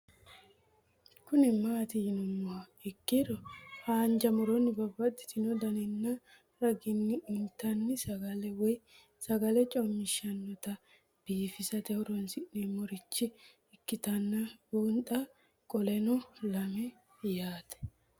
Kuni mati yinumoha ikiro hanja muroni babaxino daninina ragini intani sagale woyi sagali comishatenna bifisate horonsine'morich ikinota bunxana qoleno lame yaate